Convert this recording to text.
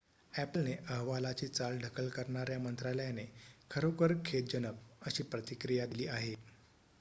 "अ‍ॅपलने अहवालाची चाल ढकल करण्याला मंत्रालयाने "खरोखर खेदजनक" अशी प्रतिक्रिया दिली आहे.